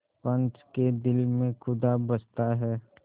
पंच के दिल में खुदा बसता है